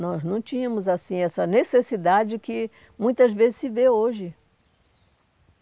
Nós não tínhamos assim essa necessidade que muitas vezes se vê hoje.